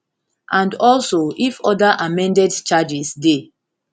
and also if oda amended charges dey